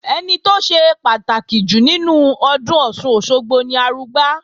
Ẹni tó ṣe pàtàkì jù nínú ọdún Ọ̀ṣun-Òṣogbo ni Arugbá